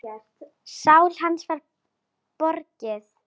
Sál hans var borgið.